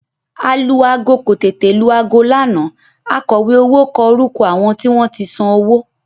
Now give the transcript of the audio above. Alu-aago kò tètè lu aago lánàá akọ̀wé owó kọ orúkọ àwọn tí wọ́n san owó